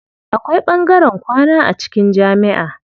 Akwai ɓangaren kwana a cikin jamiʼa.